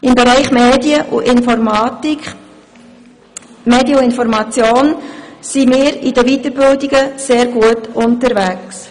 Im Bereich Medien und Information sind wir in den Weiterbildungen sehr gut unterwegs.